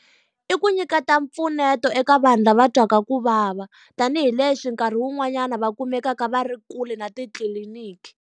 I ku nyika ta mpfuneto eka vanhu lava twaka ku vava, tanihileswi nkarhi wun'wanyana va kumekaka va ri kule na titliliniki.